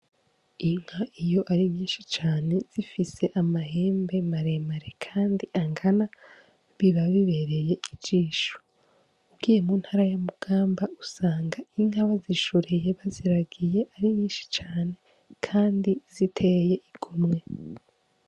Inka iyo ari nyinshi cane, zifise amahembe maremare kandi angana, biba bibereye ijisho, ugiye mu ntara ya mugamba usanga inka bazishoreye, baziragiye ari nyinshi cane kandi ziteye igomwe.